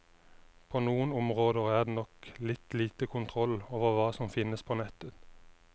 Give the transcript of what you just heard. På noen områder er det nok litt lite kontroll over hva som finnes på nettet.